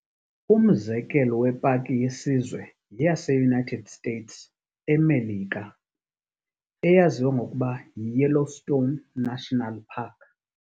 Umzekelo wepaki yesizwe yeyase-United states, eMelika, eyaziwa ngokuba yi-Yellowstone National Park.